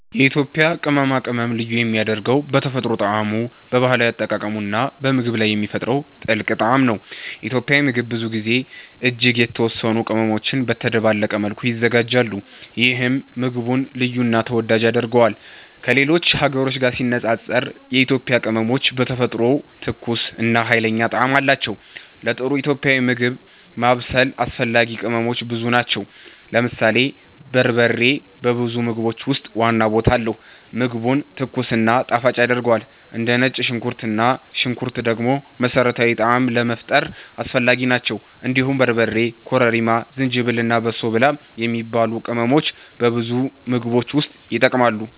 የኢትዮጵያ ቅመማ ቅመም ልዩ የሚያደርገው በተፈጥሮ ጣዕሙ፣ በባህላዊ አጠቃቀሙ እና በምግብ ላይ የሚፈጥረው ጥልቅ ጣዕም ነው። ኢትዮጵያዊ ምግብ ብዙ ጊዜ እጅግ የተወሰኑ ቅመሞች በተደባለቀ መልኩ ይዘጋጃሉ፣ ይህም ምግቡን ልዩ እና ተወዳጅ ያደርገዋል። ከሌሎች ሀገሮች ጋር ሲነጻጸር የኢትዮጵያ ቅመሞች በተፈጥሮ ትኩስ እና ኃይለኛ ጣዕም አላቸው። ለጥሩ ኢትዮጵያዊ ምግብ ማብሰል አስፈላጊ ቅመሞች ብዙ ናቸው። ለምሳሌ በርበሬ በብዙ ምግቦች ውስጥ ዋና ቦታ አለው፣ ምግቡን ትኩስ እና ጣፋጭ ያደርጋል። እንደ ነጭ ሽንኩርት እና ሽንኩርት ደግሞ መሠረታዊ ጣዕም ለመፍጠር አስፈላጊ ናቸው። እንዲሁም በርበሬ፣ ኮረሪማ፣ ዝንጅብል እና በሶ ብላ የሚባሉ ቅመሞች በብዙ ምግቦች ውስጥ ይጠቀማሉ።